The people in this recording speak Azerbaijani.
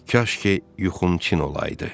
Kaş ki yuxum çin olaydı.